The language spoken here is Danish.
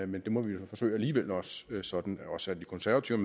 men det må vi jo forsøge alligevel sådan at også de konservative